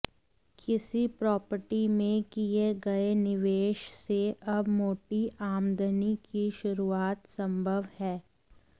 किसी प्रॉपर्टी में किए गए निवेश से अब मोटी आमदनी की शुरुआत संभव है